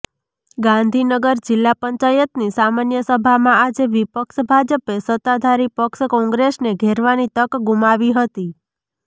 ગાંધીનગર જિલ્લા પંચાયતની સામાન્ય સભામાં આજે વિપક્ષ ભાજપે સત્તાધારી પક્ષ કોંગ્રેસને ઘેરવાની તક ગુમાવી હતી